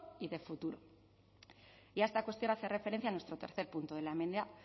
y de futuro y a esta cuestión hace referencia nuestro tercer punto